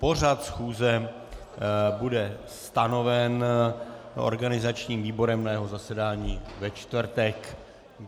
Pořad schůze bude stanoven organizačním výborem na jeho zasedání ve čtvrtek.